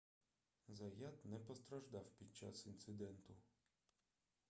заят не постраждав під час інциденту